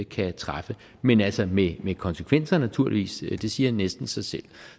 kan træffe men altså med konsekvenser naturligvis det siger næsten sig selv